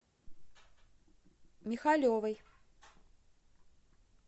михалевой